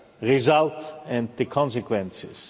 result and the consequences.